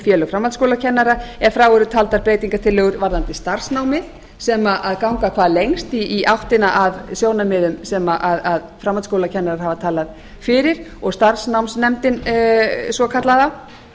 félög framhaldsskólakennara ef frá eru taldar breytingartillögur varðandi starfsnámið sem ganga hvað lengst í áttina að sjónarmiðum sem framhaldsskólakennarar hafa talað fyrir og starfsnámsnefndin svokallaða